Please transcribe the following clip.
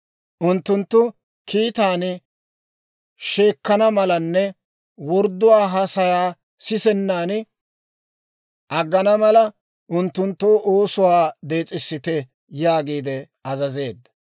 Unttunttu kiitaan sheekkana malanne wordduwaa haasayaa sisennan aggana mala, unttunttoo oosuwaa dees'isite» yaagiide azazeedda.